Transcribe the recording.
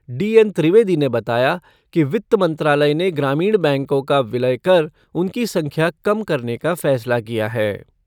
D N Trivedi ने बताया कि वित्त मंत्रालय ने ग्रामीण बैंकों का विलय कर उनकी संख्या कम करने का फैसला किया है।